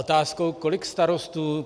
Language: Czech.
Otázka: Kolik starostů